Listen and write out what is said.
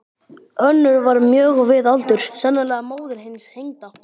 Önnur var mjög við aldur, sennilega móðir hins hengda.